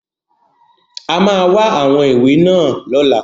A máa wá àwọn ìwé náà lọ́la.